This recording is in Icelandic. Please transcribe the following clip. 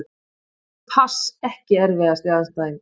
Pass EKKI erfiðasti andstæðingur?